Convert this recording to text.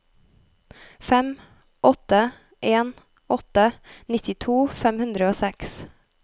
fem åtte en åtte nittito fem hundre og seks